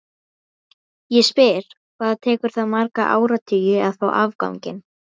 Ég spyr, hvað tekur það marga áratugi að fá afganginn?